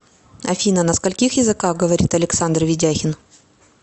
афина на скольких языках говорит александр ведяхин